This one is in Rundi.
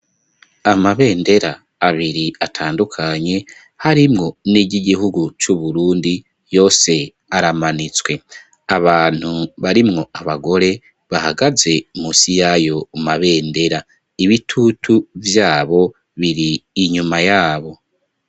Amabendera abiri atandukanye harimwo n'iryo igihugu c'uburundi yo se aramanitswe abantu barimwo abagore bahagaze musi yayo umabendera ibitutu vyabo biri inyuma yabo.